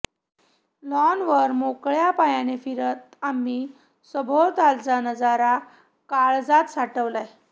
लॉनवर मोकळया पायाने फिरत आम्ही सभोवतालचा नजारा काळजात साठवला